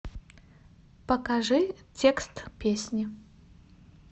покажи текст песни